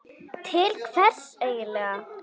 Til hvers eigin lega?